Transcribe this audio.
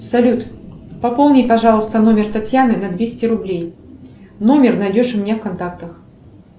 салют пополни пожалуйста номер татьяны на двести рублей номер найдешь у меня в контактах